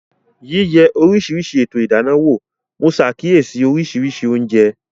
Yíyẹ oríṣiríṣi ètò ìdáná wò, mo ṣàkíyèsí oríṣiríṣi oúnjẹ